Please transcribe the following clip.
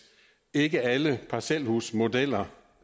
ikke alle parcelhusmodeller